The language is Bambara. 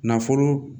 Nafolo